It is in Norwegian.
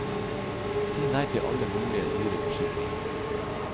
Si nei til alle mulige dyre forsikringer.